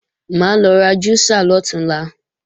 Mà á lọ ra júísà lọ̀túnla